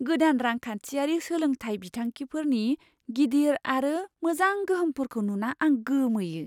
गोदान रांखान्थियारि सोलोंथाइ बिथांखिफोरनि गिदिर आरो मोजां गोहोमफोरखौ नुना आं गोमोयो।